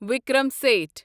Vikram Seth